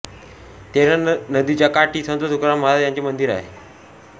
तेरणा नदीच्या काठी संत तुकाराम महाराज यांचे मंदीर आहे